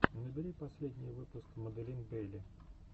набери последний выпуск маделин бейли